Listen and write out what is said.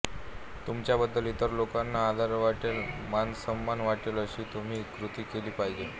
तुमच्याबद्दल इतर लोकांना आदर वाटेल मानसन्मान वाटेल अशी तुम्ही कृती केली पाहिजे